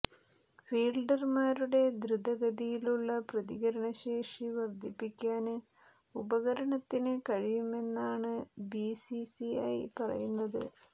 ഫീല്ഡര്മാരുടെ ദ്രുതഗതിയിലുള്ള പ്രതികരണശേഷി വര്ധിപ്പിക്കാന് ഉപകരണത്തിന് കഴിയുമെന്നാണ് ബി സി സി ഐ പറയുന്നത്